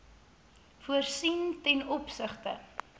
voorsien ten opsigte